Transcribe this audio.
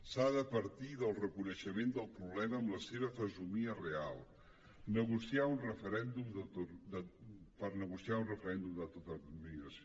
s’ha de partir del reconeixement del problema amb la seva fesomia real per negociar un referèndum d’autodeterminació